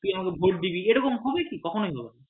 যে তুই আমাকে ভোট দিবি এরকম হবে কি কখনই হবে না